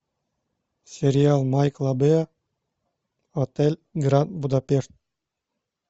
сериал майкла бэя отель гранд будапешт